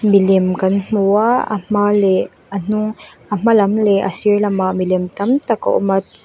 milem kan hmu a a hma leh a hnung a hma lam leh a sir lamah milem tam tak a awm a.